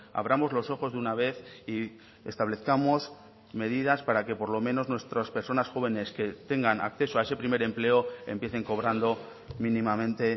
abramos los ojos de una vez y establezcamos medidas para que por lo menos nuestras personas jóvenes que tengan acceso a ese primer empleo empiecen cobrando mínimamente